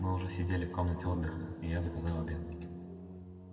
мы уже сидели в комнате отдыха и я заказал обед